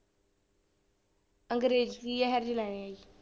ਅਗਰੇਜ਼ੀ ਇਹ ਜਿਹੇ ਲੈਣੇ ਹੈ ਜੀ।